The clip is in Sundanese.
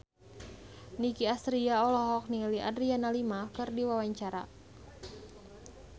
Nicky Astria olohok ningali Adriana Lima keur diwawancara